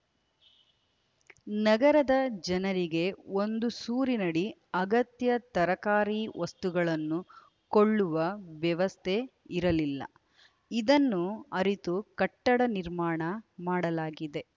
ನಗರದ ಜನರಿಗೆ ಒಂದು ಸೂರಿನಡಿ ಅಗತ್ಯ ತರಕಾರಿ ವಸ್ತುಗಳನ್ನು ಕೊಳ್ಳುವ ವ್ಯವಸ್ಥೆ ಇರಲಿಲ್ಲ ಇದನ್ನು ಅರಿತು ಕಟ್ಟಡ ನಿರ್ಮಾಣ ಮಾಡಲಾಗಿದೆ